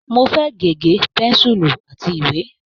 Mo fẹ́ gègé, pẹ́ńsùlù àti ìwé.